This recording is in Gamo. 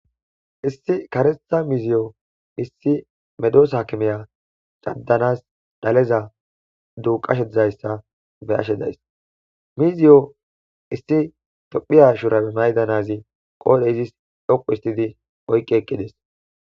Issi karetha miziyo issi medoosa kimeya caddanas daleza duuqashe izayssa be ashe days miziyo issi tophiya shurabe maydanazi qoodhe izis dhoqu istidi oyqqi eqqides.